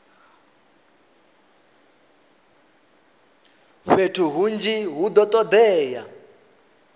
fhethu hunzhi hu do todea